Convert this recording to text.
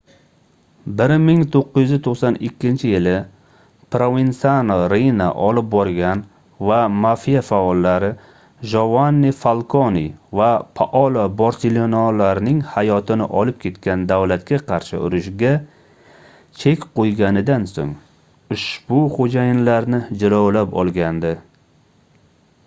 1992-yili provensano riina olib borgan va mafia faollari jovanni falkone va paolo borsellinolarning hayotini olib ketgan davlatga qarshi urushga chek qoʻyganidan soʻng ushbu xoʻjayinlarni jilovlab olgandi